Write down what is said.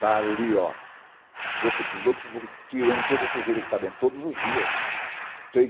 Está ali, ó, boca de lobo, tirando toda a sujeira que está dentro, todos os dias, três